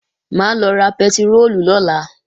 Mà á lọ ra pẹtiróòlù lọ́la